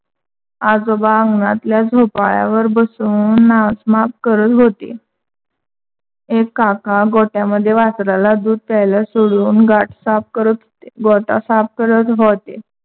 आजोबा आंगणातल्या झोपाळ्यावर बसून नाचमाप करत होते. एक काका गोठ्यामद्धे वासराला दूध प्यायला सोडून गाठ साफ करत होते. गोठा साफ करत होते.